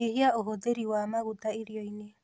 Nyihia ũhũthĩri wa maguta irioinĩ